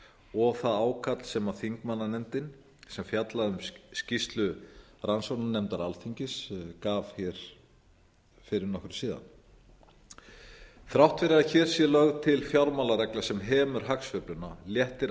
og það ákall sem þingmannanefndin sem fjallaði um skýrslu rannsóknarnefndar alþingis gaf hér fyrir nokkru síðan þrátt fyrir að hér sé til fjármálaregla sem hemur hagsveifluna léttir